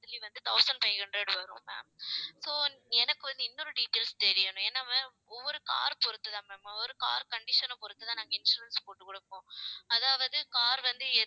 thousand five hundred வரும் ma'am so எனக்கு வந்து இன்னொரு details தெரியணும். ஏன்னா ma'am ஒவ்வொரு car பொருத்துதான் ma'am ஒரு car condition அ பொருத்துதான் நாங்க insurance போட்டு கொடுப்போம். அதாவது car வந்து